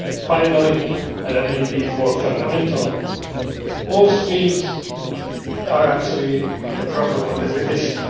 Finally, and perhaps more fundamentally, all streams are actually a problem of definition.